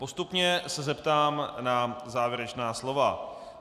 Postupně se zeptám na závěrečná slova.